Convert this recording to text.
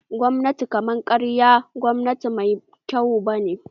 Gwamnatin kama karya ba gwamnati mai kyau bane